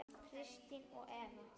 Kristin og Eva.